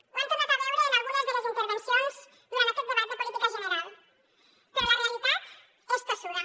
ho hem tornat a veure en algunes de les intervencions durant aquest debat de política general però la realitat és tossuda